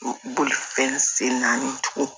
Bolifɛn sen naani tugun